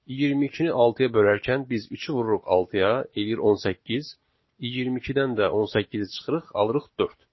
22-ni 6-ya bölərkən biz üçü vururuq 6-ya, eləyir 18, 22-dən də 18-i çıxırıq, alırıq 4.